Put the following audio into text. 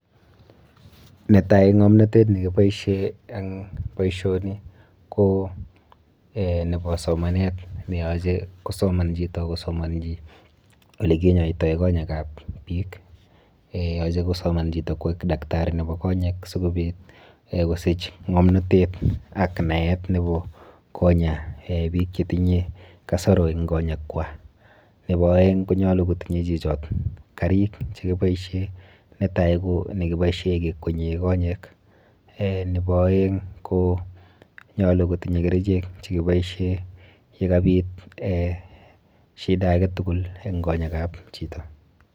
Netai ng'omnotet nekiboishe eng boisioni ko eh nepo somanet neyoche kosoman chito kosomonchi olekinyoitoi konyekap biik. Yoche kosoman chito koek daktari nepo konyek sikobit eh sikosich ng'omnatet ak naet nepo konya eh biik chetinye kasoro eng konyekwa. Nepo aeng konyolu kotinye chichot karik chekiboishe netai ko nekiboishe kekwenye konyek, eh nepo oeng ko nyolu kotinye kerichek chekiboishe yekabit shida aketugul eng konyekap chito.